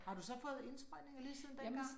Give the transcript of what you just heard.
Har du så fået indsprøjtninger lige siden dengang?